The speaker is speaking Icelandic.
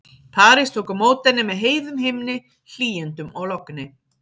París tók á móti henni með heiðum himni, hlýindum og logni.